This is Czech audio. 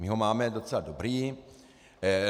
My ho máme docela dobrý.